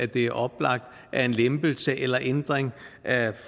det er oplagt at en lempelse eller en ændring af